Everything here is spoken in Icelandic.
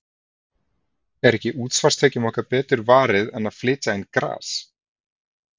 Er ekki útsvarstekjunum okkar betur varið en að flytja inn gras?